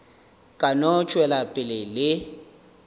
ka no tšwela pele le